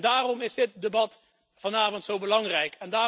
Daarom is het debat vanavond zo belangrijk.